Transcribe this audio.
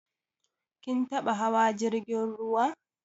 Kin taɓa hawa jirgin ruwa?